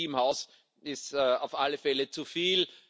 Bürokratie im Haus ist auf alle Fälle zu viel.